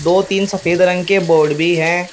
दो तीन सफेद रंग के बोड भी हैं।